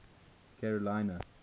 carolina